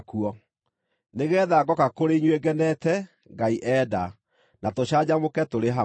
nĩgeetha ngooka kũrĩ inyuĩ ngenete, Ngai enda, na tũcanjamũke tũrĩ hamwe.